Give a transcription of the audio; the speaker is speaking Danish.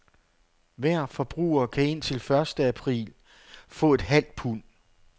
Hver forbruger kan indtil første april få et halvt pund.